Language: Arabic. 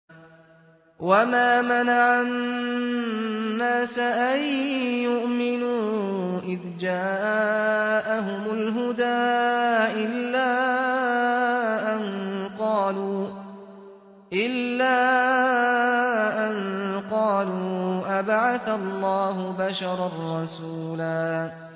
وَمَا مَنَعَ النَّاسَ أَن يُؤْمِنُوا إِذْ جَاءَهُمُ الْهُدَىٰ إِلَّا أَن قَالُوا أَبَعَثَ اللَّهُ بَشَرًا رَّسُولًا